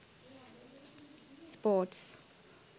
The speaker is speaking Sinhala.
sports